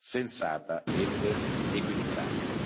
sensata ed equilibrata.